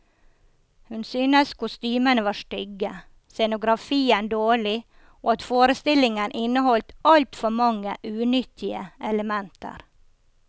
Hun synes kostymene var stygge, scenografien dårlig, og at forestillingen inneholdt altfor mange unyttige elementer.